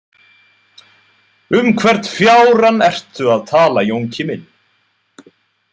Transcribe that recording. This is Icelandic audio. Um hvern fjárann ertu að tala, Jónki minn!